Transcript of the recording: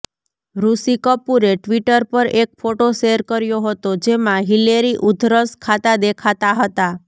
ઋષિ કપૂરે ટ્વિટર પર એક ફોટો શેર કર્યો હતો જેમાં હિલેરી ઊધરસ ખાતા દેખાતા હતા